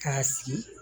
K'a sigi